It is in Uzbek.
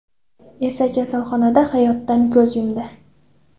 esa kasalxonada hayotdan ko‘z yumdi.